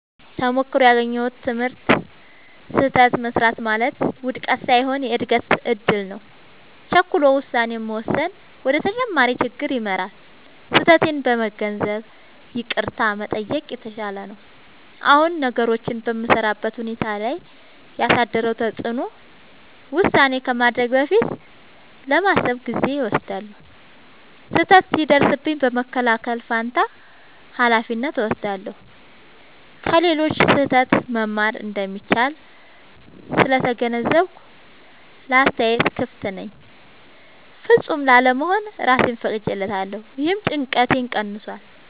ተሞክሮው ያገኘሁት ትምህርት፦ · ስህተት መሥራት ማለት ውድቀት ሳይሆን የእድገት እድል ነው። · ቸኩሎ ውሳኔ መወሰን ወደ ተጨማሪ ችግር ይመራል። · ስህተቴን በመገንዘብ ይቅርታ መጠየቅ የተሻለ ነው። አሁን ነገሮችን በምሠራበት ሁኔታ ላይ ያሳደረው ተጽዕኖ፦ · ውሳኔ ከማድረጌ በፊት ለማሰብ ጊዜ እወስዳለሁ። · ስህተት ሲደርስብኝ በመከላከል ፋንታ ኃላፊነት እወስዳለሁ። · ከሌሎች ስህተት መማር እንደሚቻል ስለተገነዘብኩ ለአስተያየት ክፍት ነኝ። · ፍጹም ላለመሆን እራሴን ፈቅጄለታለሁ — ይህም ጭንቀቴን ቀንሷል።